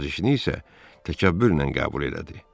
Nəvazişini isə təkəbbürlə qəbul elədi.